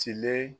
Cile